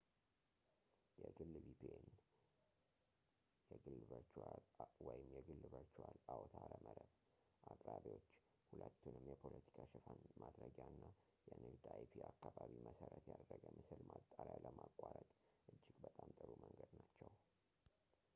የግል vpn የግል ቨርቹዋል አውታረ መረብ አቅራቢዎች ሁለቱንም የፖለቲካ ሸፋን ማድረጊያ እና የንግድ አይፒ-አካባቢ-መሰረት ያደረገ ምስል ማጣሪያ ለማቋረጥ እጅግ በጣም ጥሩ መንገድ ናቸው